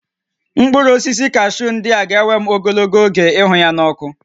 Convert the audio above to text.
Mkpụrụ osisi kashuu ndị a ga-ewe m ogologo oge ịhụ ya n'ọkụ